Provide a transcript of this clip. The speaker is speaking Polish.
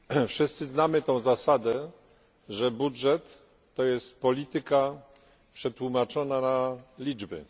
Wszyscy znamy tę zasadę, że budżet to jest polityka przetłumaczona na liczby.